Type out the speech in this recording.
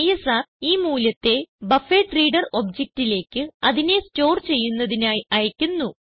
ISR ഈ മൂല്യത്തെ buffered reader objectലേക്ക് അതിനെ സ്റ്റോർ ചെയ്യുന്നതിനായി അയക്കുന്നു